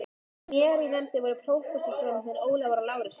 Með mér í nefndinni voru prófessorarnir Ólafur Lárusson